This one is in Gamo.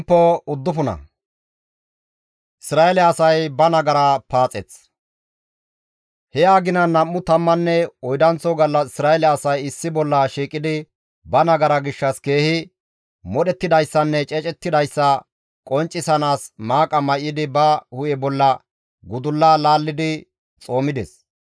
He aginan nam7u tammanne oydanththo gallas Isra7eele asay issi bolla shiiqidi ba nagara gishshas keehi modhettidayssanne ceecidayssa qonccisiinaas maaqa may7idi ba hu7e bolla gudulla laallidi xoomides.